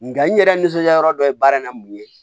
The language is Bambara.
Nga n yɛrɛ nisɔndiya yɔrɔ dɔ ye baara n mun ye